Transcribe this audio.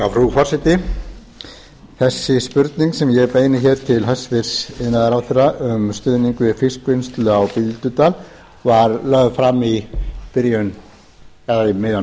frú forseti þessi spurning sem ég beini hér til hæstvirts iðnaðarráðherra um stuðning við fiskvinnslu á bíldudal var lögð fram um miðjan